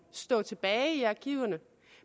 stå tilbage i arkiverne